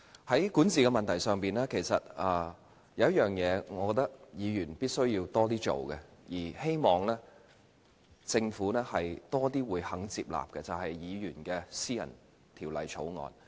在管治問題上，有一件事我覺得是議員必須多做的，希望政府亦要多些接納，就是議員的私人條例草案。